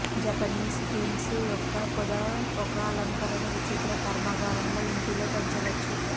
Japanese quince యొక్క పొద ఒక అలంకార విచిత్ర కర్మాగారంలో ఇంటిలో పెంచవచ్చు